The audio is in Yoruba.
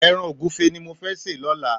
Èràn ógùfé ni mó fè sé lòlá